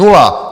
Nula!